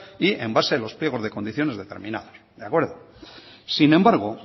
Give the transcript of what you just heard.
y en base a los pliegos de condiciones determinados de acuerdo sin embargo